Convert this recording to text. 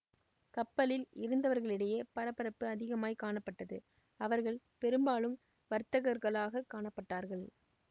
கப்பலில் இருந்தவர்களிடையே பரபரப்பு அதிகமாய்க் காணப்பட்டது அவர்கள் பெரும்பாலும் வர்த்தகர்களாகக் காணப்பட்டார்கள்